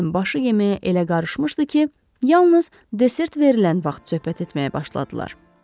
Buun başı yeməyə elə qarışmışdı ki, yalnız desert verilən vaxt söhbət etməyə başladılar.